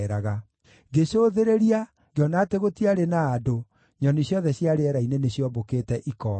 Ngĩcũthĩrĩria, ngĩona atĩ gũtiarĩ na andũ; nyoni ciothe cia rĩera-inĩ nĩciombũkĩte ikoora.